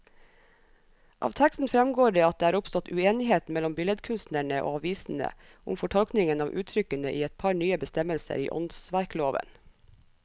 Av teksten fremgår det at det er oppstått uenighet mellom billedkunstnerne og avisene om fortolkningen av uttrykkene i et par nye bestemmelser i åndsverkloven.